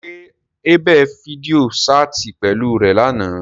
Ṣe Abel fidio ṣaati pẹlu rẹ làná?